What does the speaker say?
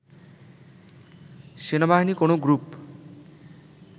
সেনাবাহিনী কোনো গ্রুপ